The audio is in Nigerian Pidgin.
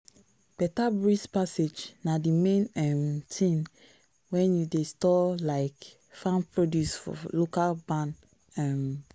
better breeze passage na the main um thing when you dey store um farm produce for local barn. um